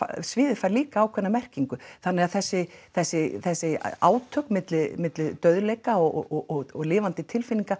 sviðið fær líka ákveðna merkingu þannig að þessi þessi þessi átök milli milli dauðleika og lifandi tilfinninga